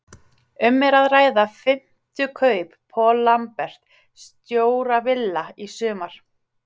Um er að ræða fimmtu kaup Paul Lambert, stjóra Villa, í sumar.